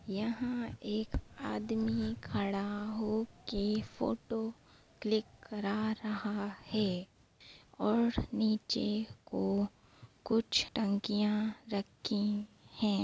यहाँ एक आदमी खड़ा होके फोटो क्लिक करा रहा है और नीचे को कुछ टंकियां रखी हैं।